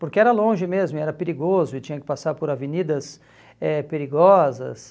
Porque era longe mesmo e era perigoso e tinha que passar por avenidas eh perigosas.